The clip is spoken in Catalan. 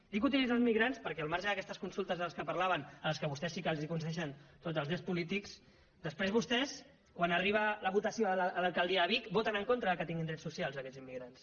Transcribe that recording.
dic utilitzar els immigrants perquè al marge d’aquestes consultes de les que parlaven en les quals vostès sí que els concedeixen tots els drets polítics després vostès quan arriba la votació a l’alcaldia de vic voten en contra que tinguin drets so cials aquests immigrants